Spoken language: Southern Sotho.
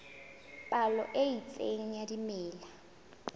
palo e itseng ya dimela